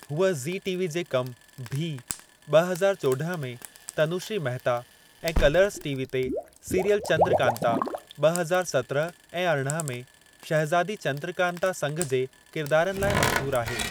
हूअ ज़ीटीवी जे कम भी (ब॒ हज़ार चोड॒ह) में तनूश्री महता ऐं कलर्ज़ टीवी ते सीरियल चन्द्रकान्ता (ब॒ हज़ार सत्रहं ऐं अरिड़हं) में शहज़ादी चन्द्रकान्ता संघ जे किरदारनि लाइ मशहूरु आहे।